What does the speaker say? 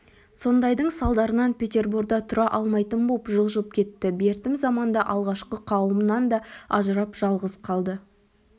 сондайдың салдарынан петерборда тұра алмайтын боп жылжып кетті бертім заманда алғашқы қауымынан да ажырап жалғыз қалды